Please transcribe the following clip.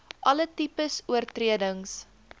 alle tipes oortredings